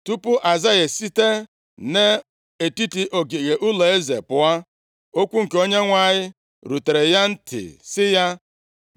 Tupu Aịzaya esite nʼetiti ogige ụlọeze pụọ, okwu nke Onyenwe anyị rutere ya ntị, sị ya: